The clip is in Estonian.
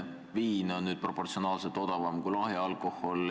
Viin on nüüd proportsionaalses mõttes odavam kui lahja alkohol.